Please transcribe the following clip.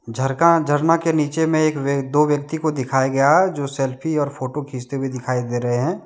झरका झरना के नीचे में एक व्य दो व्यक्ति को दिखाया गया जो सेल्फी और फोटो खींचते हुए दिखाई दे रहे हैं।